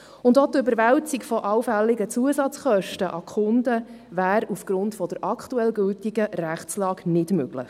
Auch die Überwälzung von allfällige Zusatzkosten auf die Kunden sei aufgrund der aktuell gültigen Rechtsgrundlage nicht möglich.